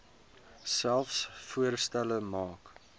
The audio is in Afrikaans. selfs voorstelle maak